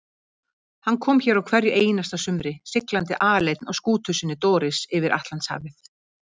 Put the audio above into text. Hann kom hér á hverju einasta sumri, siglandi aleinn á skútu sinni Doris yfir Atlantshafið.